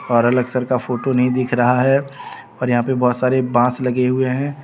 और अलक सर का फोटो नहीं दिख रहा है और यहां पे बहोत सारे बांस लगे हुए हैं.